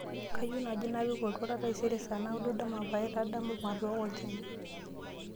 kayieu naaji napik oltuala taisere saa naaudo dama paitadamu matooko olchani